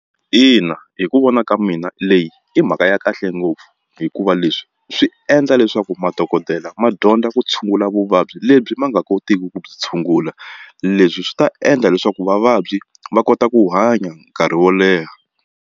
Ina hi ku vona ka mina leyi i mhaka ya kahle ngopfu hikuva leswi swi endla leswaku madokodela ma dyondza ku tshungula vuvabyi lebyi ma nga kotiki ku byi tshungula leswi swi ta endla leswaku vavabyi va kota ku hanya nkarhi wo leha.